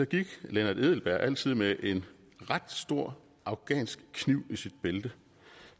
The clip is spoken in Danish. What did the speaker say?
gik lennart edelberg altid med en ret stor afghansk kniv i sit bælte